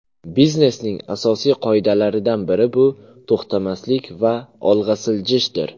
Biznesning asosiy qoidalaridan biri bu to‘xtamaslik va olg‘a siljishdir.